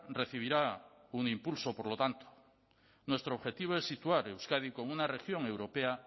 recibirá un impulso por lo tanto nuestro objetivo es situar euskadi como una región europea